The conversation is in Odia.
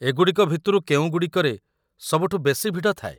ଏଗୁଡ଼ିକ ଭିତରୁ କେଉଁଗୁଡ଼ିକରେ ସବୁଠୁ ବେଶି ଭିଡ଼ ଥାଏ?